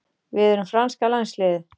Við erum franska landsliðið.